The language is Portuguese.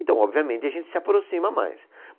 Então, obviamente, a gente se aproxima mais.